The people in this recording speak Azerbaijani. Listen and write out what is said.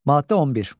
Maddə 11.